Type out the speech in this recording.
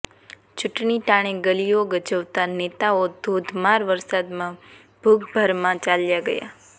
ચૂંટણી ટાણે ગલીઅો ગજવતા નેતાઅો ધોધમાર વરસાદમાં ભૂગર્ભમાં ચાલ્યા ગયા